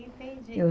Entendi. Eu